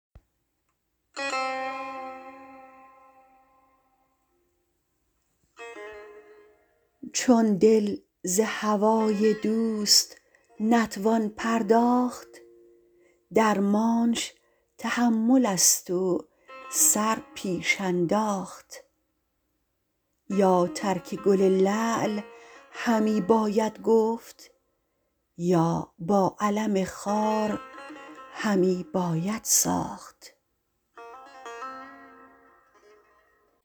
چون دل ز هوای دوست نتوان پرداخت درمانش تحمل است و سر پیش انداخت یا ترک گل لعل همی باید گفت یا با الم خار همی باید ساخت